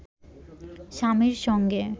স্বামীর সঙ্গে